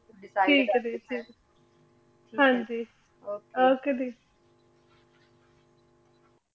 ਠੀਕ ਆਯ ਜੀ ਠੀਕ ਆਯ ਹਾਂਜੀ okay okay ਦੀ